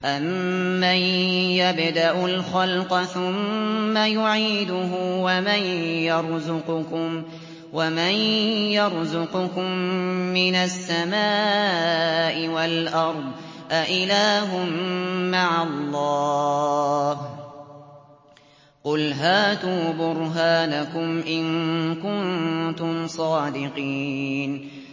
أَمَّن يَبْدَأُ الْخَلْقَ ثُمَّ يُعِيدُهُ وَمَن يَرْزُقُكُم مِّنَ السَّمَاءِ وَالْأَرْضِ ۗ أَإِلَٰهٌ مَّعَ اللَّهِ ۚ قُلْ هَاتُوا بُرْهَانَكُمْ إِن كُنتُمْ صَادِقِينَ